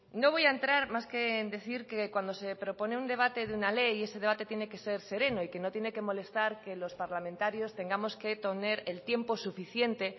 no voy a entrar más que en decir que cuando se propone el debate de una ley ese debate tiene que ser sereno y que no tiene que molestar que los parlamentarios tengamos que tener el tiempo suficiente